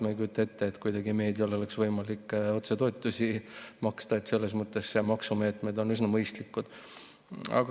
Ma ei kujuta ette, et meediale oleks võimalik otsetoetusi maksta, nii et selles mõttes on maksumeetmed üsna mõistlikud.